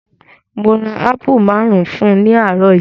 Mo ra ápù maárùn-ún fún ní àárọ̀ yìí.